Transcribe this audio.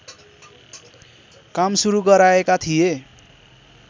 काम सुरू गराएका थिए